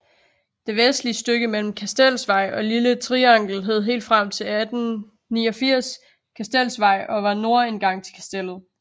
Det vestligste stykke mellem Kastelsvej og Lille Triangel hed helt frem til 1889 Kastelsvej og var nordindgang til Kastellet